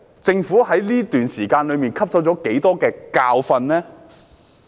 政府在這段時間汲取了多少教訓呢？